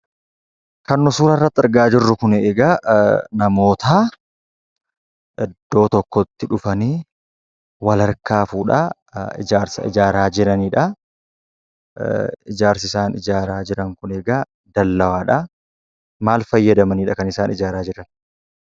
Kan nu suura irratti argaa jirru kuni egaa namoota iddoo tokkotti dhufanii wal harkaa fuudhaa ijaarsa ijaaraa jiranidha. Ijaarsi isaan ijaaraa jiran kun egaa dallaadha. Maal fayyadamaniidha kan isaan ijaaraa jiran?